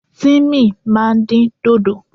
Tímì ma din dodo.